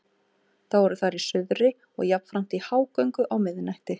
Þá eru þær í suðri og jafnframt í hágöngu á miðnætti.